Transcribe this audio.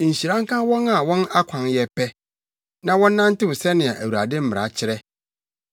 Nhyira nka wɔn a wɔn akwan yɛ pɛ, na wɔnantew sɛnea Awurade mmara kyerɛ.